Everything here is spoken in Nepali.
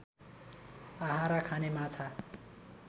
आहारा खाने माछा